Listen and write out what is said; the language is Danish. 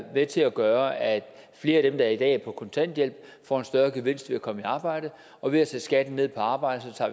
med til at gøre at flere af dem der i dag er på kontanthjælp får en større gevinst ved at komme i arbejde og ved at sætte skatten ned på arbejde tager